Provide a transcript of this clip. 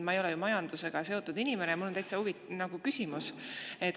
Ma ei ole majandusega seotud inimene ja mul on küsimus.